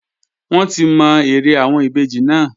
Wọ́n ti mọ eré àwọn ìbejì náà